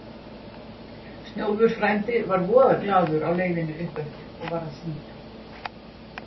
Snjólfur frændi var voða glaður á leiðinni uppeftir og var að syngja